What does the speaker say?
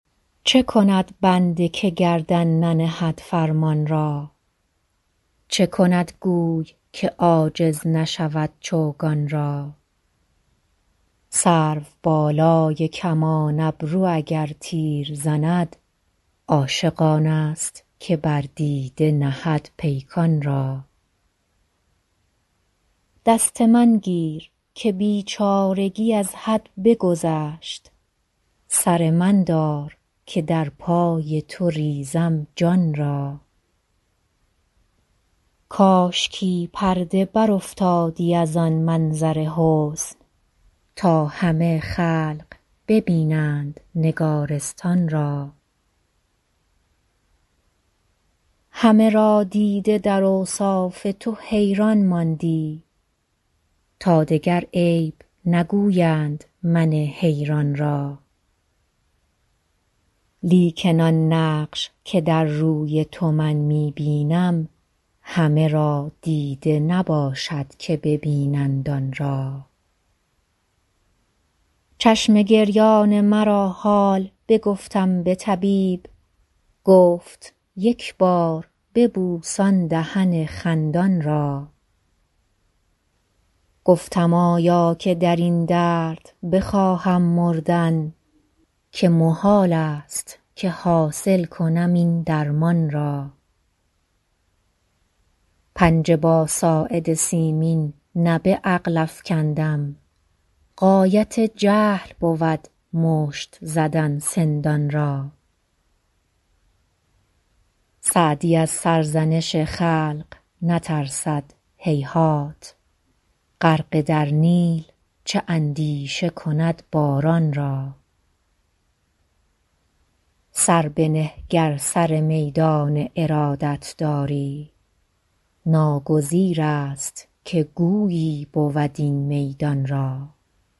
چه کند بنده که گردن ننهد فرمان را چه کند گوی که عاجز نشود چوگان را سروبالای کمان ابرو اگر تیر زند عاشق آنست که بر دیده نهد پیکان را دست من گیر که بیچارگی از حد بگذشت سر من دار که در پای تو ریزم جان را کاشکی پرده برافتادی از آن منظر حسن تا همه خلق ببینند نگارستان را همه را دیده در اوصاف تو حیران ماندی تا دگر عیب نگویند من حیران را لیکن آن نقش که در روی تو من می بینم همه را دیده نباشد که ببینند آن را چشم گریان مرا حال بگفتم به طبیب گفت یک بار ببوس آن دهن خندان را گفتم آیا که در این درد بخواهم مردن که محالست که حاصل کنم این درمان را پنجه با ساعد سیمین نه به عقل افکندم غایت جهل بود مشت زدن سندان را سعدی از سرزنش خلق نترسد هیهات غرقه در نیل چه اندیشه کند باران را سر بنه گر سر میدان ارادت داری ناگزیرست که گویی بود این میدان را